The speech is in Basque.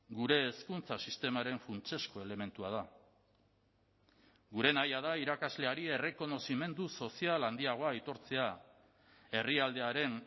gure hezkuntza sistemaren funtsezko elementua da gure nahia da irakasleari errekonozimendu sozial handiagoa aitortzea herrialdearen